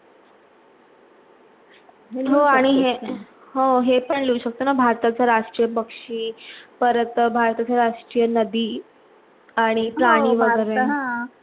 हो हे पण लिहू शकतो ना, भारताचा राष्ट्रीय पक्षी, परत भारताच्या राष्ट्रीय नदी आणि प्राणी वेगेरे